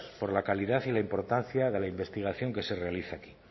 por la calidad y la importancia de la investigación que se realizan